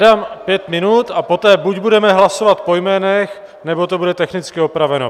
Dám 5 minut, a poté buď budeme hlasovat po jménech, nebo to bude technicky opraveno.